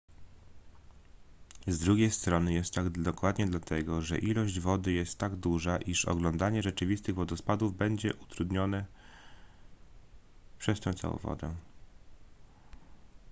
z drugiej strony jest tak dokładnie dlatego że ilość wody jest tak duża iż oglądanie rzeczywistych wodospadów będzie utrudnione przez tę całą wodę